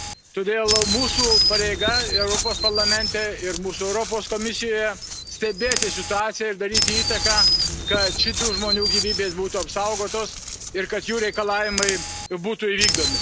Todėl mūsų pareiga Europos Parlamente ir mūsų Europos Komisijoje stebėti situaciją ir daryti įtaką, kad šitų žmonių gyvybės būtų apsaugotos ir kad jų reikalavimai būtų įvykdomi.